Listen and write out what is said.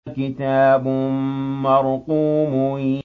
كِتَابٌ مَّرْقُومٌ